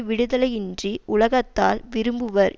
விடுதலின்றி உலகத்தார் விரும்புவர்